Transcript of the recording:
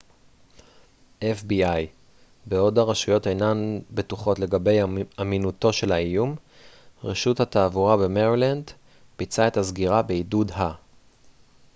בעוד הרשויות אינן בטוחות לגבי אמינותו של האיום רשות התעבורה במרילנד ביצעה את הסגירה בעידוד ה-fbi